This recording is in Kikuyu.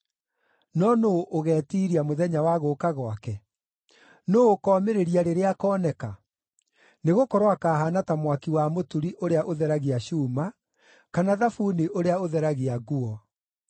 No nũũ ũgetiiria mũthenya wa gũũka gwake? Nũũ ũkomĩrĩria rĩrĩa akooneka? Nĩgũkorwo akahaana ta mwaki wa mũturi ũrĩa ũtheragia cuuma, kana thabuni ũrĩa ũtheragia nguo.